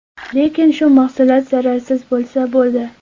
Lekin shu mahsulot zararsiz bo‘lsa, bo‘ldi.